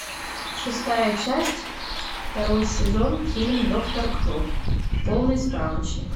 шестая часть второй сезон фильм доктор кто полный справочник